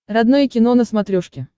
родное кино на смотрешке